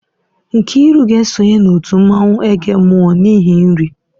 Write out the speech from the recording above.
Nkiru ga-esonye na otu mmanwụ agemọ n'ihi nri.